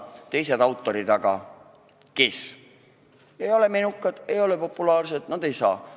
Need autorid, kes ei ole menukad, ei ole populaarsed, seda ei saa.